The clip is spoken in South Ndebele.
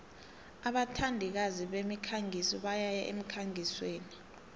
abathandikazi bemikhangiso bayaya emkhangisweni